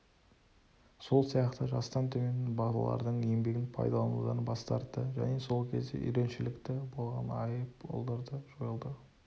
сол сияқты жастан төмен балалардың еңбегін пайдаланудан бас тартты және сол кезде үйреншілікті болған айыппұлдарды жойылды